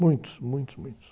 Muitos, muitos, muitos.